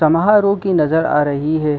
समारोह की नजर आ रही है।